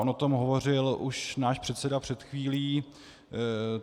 On o tom hovořil už náš předseda před chvílí.